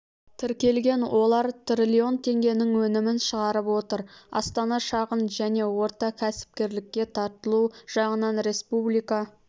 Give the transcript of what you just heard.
тіркелген олар трлн теңгенің өнімін шығарып отыр астана шағын және орта кәсіпкерлікке тартылу жағынан республика